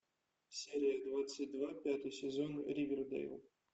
серия двадцать два пятый сезон ривердэйл